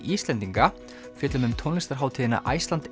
Íslendinga fjöllum um tónlistarhátíðina Iceland